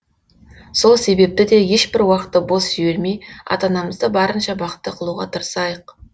сол себепті де ешбір уақытты бос жібермей ата анамызды барынша бақытты қылуға тырысайық